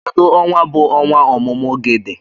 Kedu onwa bu ọnwa ọmụmụ gị dị?